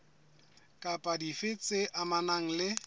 kapa dife tse amanang le